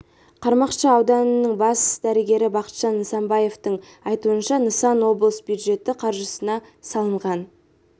қармақшы ауданының бас дәрігері бақытжан нысанбаевтың айтуынша нысан облыс бюджеті қаржысына салынған